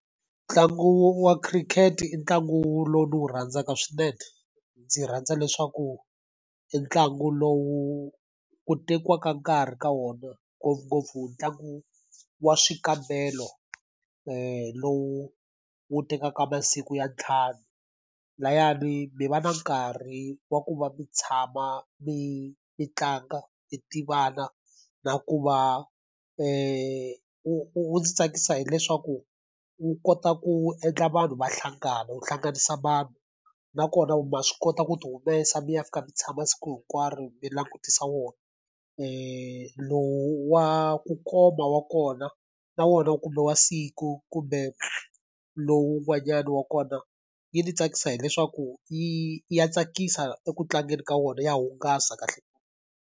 Ntlangu wa khirikhete i ntlangu lowu ndzi wu rhandzaka swinene. Ndzi rhandza leswaku i ntlangu lowu wu tekiwaka nkarhi ka wona ngopfungopfu ntlangu wa swikambelo lowu wu tekaka masiku ya ntlhanu. Lahayani mi va na nkarhi wa ku va mi tshama, mi mi tlanga, mi tivana, na ku va wu wu ndzi tsakisa hileswaku wu kota ku endla vanhu va hlangana, wu hlanganisa vanhu. Nakona ma swi kota ku ti humesa mi ya fika mi tshama siku hinkwaro mi langutisa wona. Lowu wa ku koma wa kona, na wona kumbe wa siku kumbe lowun'wanyani wa kona. yi ni tsakisa hileswaku yi ya tsakisa eku tlangeni ka wona ya hungasa .